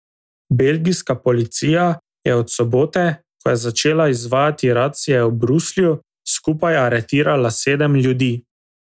Belgijska policija je od sobote, ko je začela izvajati racije v Bruslju, skupaj aretirala sedem ljudi.